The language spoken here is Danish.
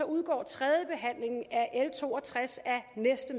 udgår tredjebehandlingen af l to og tres af næste